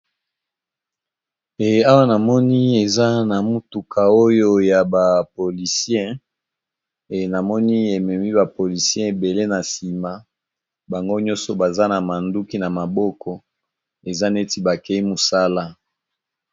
Ee awa namoni eza na motuka oyo ya ba polisien e namoni ememi ba polisien ebele na sima bango nyonso baza na manduki na maboko eza neti bakei mosala.